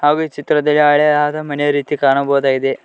ಹಾಗೂ ಈ ಚಿತ್ರದಲ್ಲಿ ಹಳೆಯಾದ ಮನೆಯ ರೀತಿ ಕಾಣಬಹುದಾಗಿದೆ.